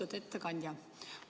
Lugupeetud ettekandja!